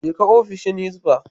Je ka ofishin Hizba.